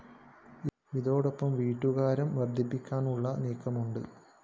ഇതോടൊപ്പം വീട്ടുകരം വര്‍ദ്ധിപ്പിക്കാനുള്ള നീക്കവുമുണ്ട്‌